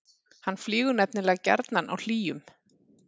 hann flýgur nefnilega gjarnan á hlýjum